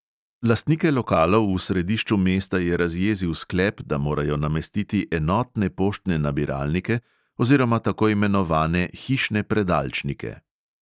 Lastnike lokalov v središču mesta je razjezil sklep, da morajo namestiti enotne poštne nabiralnike oziroma tako imenovane hišne predalčnike.